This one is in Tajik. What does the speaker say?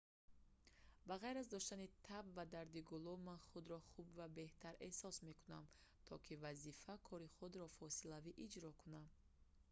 ба ғайр аз доштани таб ва дарди гулӯ ман худро хуб ва беҳтар эҳсос мекунам то ки вазифа кори худро фосилавӣ иҷро кунам